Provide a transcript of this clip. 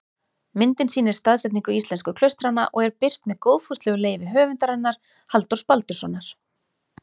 Myndin sýnir staðsetningu íslensku klaustranna og er birt með góðfúslegu leyfi höfundar hennar, Halldórs Baldurssonar.